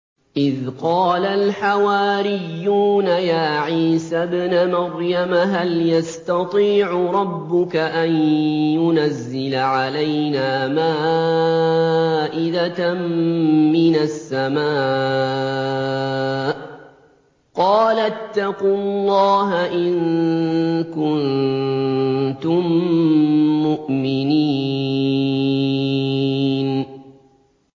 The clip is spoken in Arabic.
إِذْ قَالَ الْحَوَارِيُّونَ يَا عِيسَى ابْنَ مَرْيَمَ هَلْ يَسْتَطِيعُ رَبُّكَ أَن يُنَزِّلَ عَلَيْنَا مَائِدَةً مِّنَ السَّمَاءِ ۖ قَالَ اتَّقُوا اللَّهَ إِن كُنتُم مُّؤْمِنِينَ